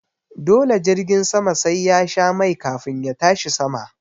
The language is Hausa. Dole jirgin sama sai yasha mai kafin ya tashi sama